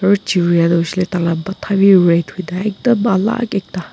aru chiria tu hoi shey le tai la matha bi red hoi ne ekdum alak ekta.